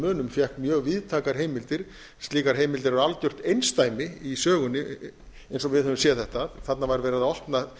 munum fékk mjög víðtækar heimildir slíkar heimildir eru algjört einsdæmi í sögunni eins og við höfum séð þetta þarna var verið að